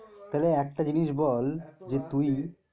তাহলে একটা জিনিস বল যে তুই